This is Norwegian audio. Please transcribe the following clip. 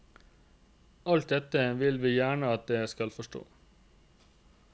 Alt dette vil vi gjerne at dere skal forstå.